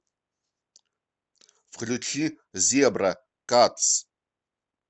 включи зебра катз